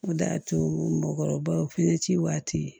O de y'a to mɔkɔrɔbaw finɛ ci waati